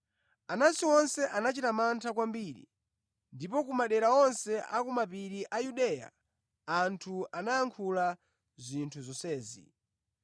Anansi onse anachita mantha kwambiri, ndipo ku madera onse a kumapiri a Yudeya, anthu anayankhula zinthu zonsezi.